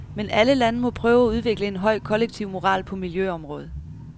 Men alle lande må prøve at udvikle en høj kollektiv moral på miljøområdet.